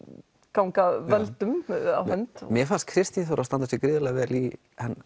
ganga völdum á hönd mér fannst Kristín Þóra standa sig rosalega vel í